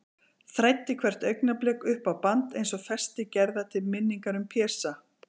Þræddi hvert augnablik upp á band, eins og festi gerða til minningar um Pésa.